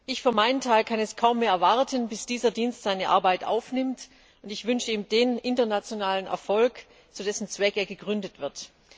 Ich für meinen Teil kann es kaum mehr erwarten, bis dieser Dienst seine Arbeit aufnimmt, und ich wünsche ihm den internationalen Erfolg, zu dessen Zweck er gegründet wird.